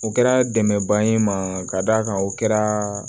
O kɛra dɛmɛba ye n ma ka d'a kan o kɛra